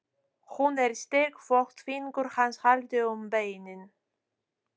Hún er styrk þótt fingur hans haldi um beinin.